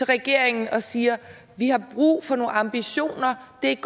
regeringen og siger at vi har brug for nogle ambitioner det